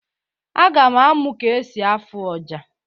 Aga m amụ ka esi afu ọjà